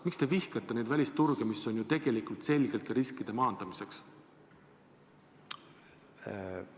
Miks te vihkate neid välisturge, mis on tegelikult selgelt riskide maandamiseks?